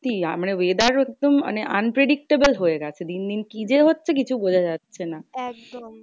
আমরা weather মানে unpredictable হয়ে গেছে দিন দিন কি যে হচ্ছে কিছু বোঝা যাচ্ছে না।